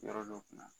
Yɔrɔ dɔw kunna